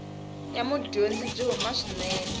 ya mudyondzi byi huma swinene